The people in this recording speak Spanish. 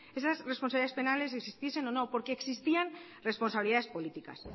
esas responsabilidades penales existiesen o no porque existían responsabilidades políticas